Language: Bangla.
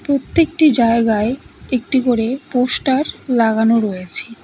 প্রত্যেকটি জায়গায় একটি করে পোস্টার লাগানো রয়েছে।